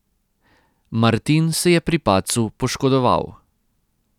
Martin se je pri padcu poškodoval.